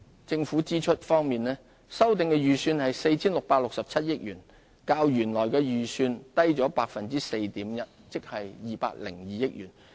政府支出方面，修訂預算為 4,667 億元，較原來預算低 4.1%， 即202億元。